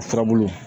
O furabulu